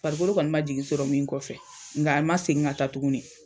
farikolo kɔni ma jigin sɔrɔ min kɔfɛ ŋa a ma segin ka taa tuguni.